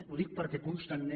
ho dic perquè constantment